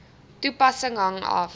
toepassing hang af